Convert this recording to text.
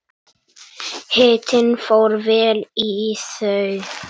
Hitinn fór vel í þau.